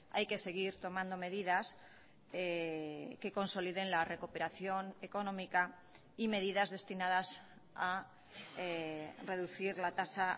hay que seguir tomando medidas que consoliden la recuperación económica y medidas destinadas a reducir la tasa